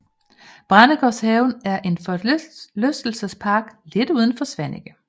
Brændesgårdshaven er en forlystelsespark lidt uden for Svaneke